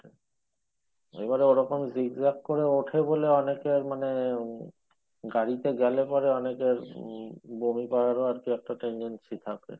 এবারে ওই রকম zigzag করে ওঠে বলে অনেকে মানে গাড়িতে গেলে পরে অনেকের উম বমি করার মতো একটা tendency থাকে।